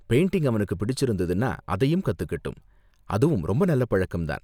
Painting அவனுக்கு பிடிச்சிருந்ததுன்னா அதையும் கத்துக்கட்டும், அதுவும் ரொம்ப நல்ல பழக்கம் தான்.